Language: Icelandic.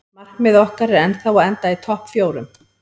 Markmið okkar er ennþá að enda í topp fjórum.